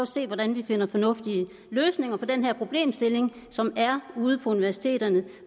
se hvordan vi finder fornuftige løsninger på den her problemstilling som er ude på universiteterne